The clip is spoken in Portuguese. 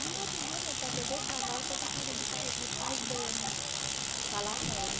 Aí no outro dia meu pai pegou o cavalo e foi para a casa do pai dos pais dele falar com ele